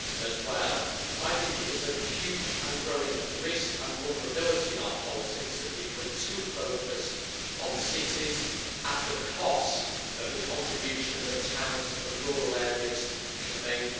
as well. There is a huge and growing risk and vulnerability in our politics that we become too focused on cities at the cost of the contribution that towns and rural areas can make.